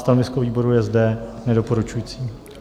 Stanovisko výboru je zde nedoporučující.